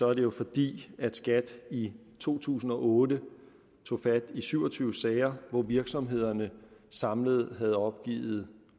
er det fordi skat i to tusind og otte tog fat i syv og tyve sager hvor virksomhederne samlet havde opgivet